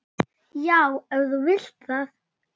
Já, ef þú vilt það.